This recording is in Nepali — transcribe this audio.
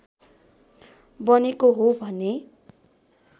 बनेको हो भन्ने